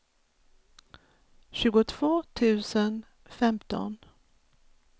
tjugotvå tusen femton